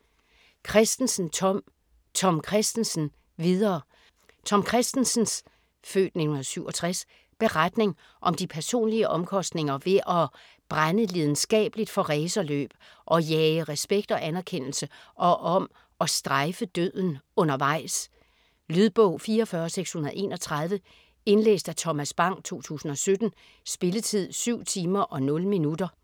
Kristensen, Tom: Tom Kristensen - videre Tom Kristensens (f. 1967) beretning om de personlige omkostninger ved at brænde lidenskabeligt for racerløb, at jage respekt og anerkendelse og om at "strejfe" døden undervejs. Lydbog 44631 Indlæst af Thomas Bang, 2017. Spilletid: 7 timer, 0 minutter.